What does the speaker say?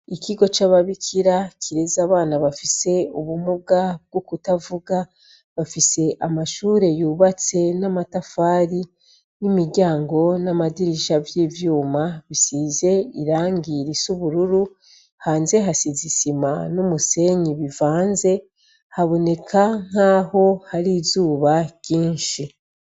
Ikigo c'ababikira kireze abana bafise ubumuga bwo kutavuga, bafise amashure yubatse n'amatafari, n'imiryango, n'amadirisha vy'ivyuma bisize irangi risa ubururu, hanze hasize isima n'umusenyi bivanze, haboneka nkaho hari izuba ryinshi.